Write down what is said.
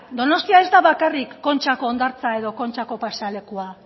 donostia ez da bakarrik kontxako hondartza edo kontxako pasealekua